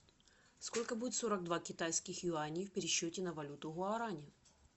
сколько будет сорок два китайских юаней в пересчете на валюту гуарани